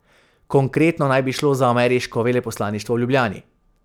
Konkretno naj bi šlo za ameriško veleposlaništvo v Ljubljani.